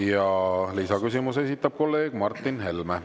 Ja lisaküsimuse esitab kolleeg Martin Helme.